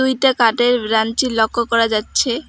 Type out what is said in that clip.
দুইটা কাঠের ব্রাঞ্চি লক্ষ করা যাচ্ছে।